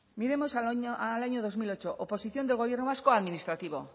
miremos al año dos mil ocho oposición del gobierno vasco a administrativo